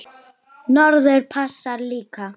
Norður passar líka.